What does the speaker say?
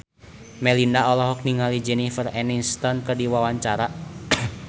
Melinda olohok ningali Jennifer Aniston keur diwawancara